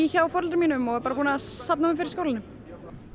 hjá foreldrum mínum og er búin að safna mér fyrir skólanum